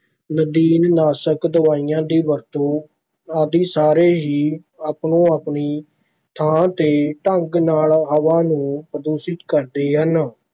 ਨਦੀਨ ਨਾਸ਼ਕ ਦਵਾਈਆਂ ਦੀ ਵਰਤੋਂ ਆਦਿ ਸਾਰੇ ਹੀ ਆਪੋ ਆਪਣੀ ਥਾਂ ਤੇ ਢੰਗ ਨਾਲ ਹਵਾ ਨੂੰ ਪ੍ਰਦੂਸ਼ਿਤ ਕਰਦੇ ਹਨ।